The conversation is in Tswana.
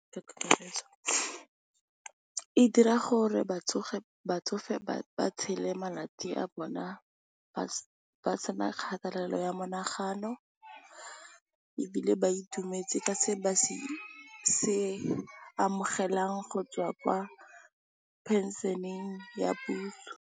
E dira gore batsofe ba tshele malatsi a bona ba sena kgatelelo ya monagano ebile, ba itumetse ka se ba se amogelang go tswa kwa phenšeneng ya puso.